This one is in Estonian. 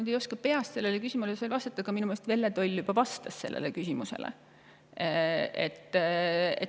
Ma ei oska peast sellele küsimusele vastata, aga minu meelest Velle Toll juba vastas sellele.